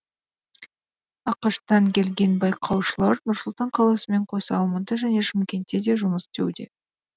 ақш тан келген байқаушылар нұр сұлтан қаласымен қоса алматы және шымкентте де жұмыс істеуде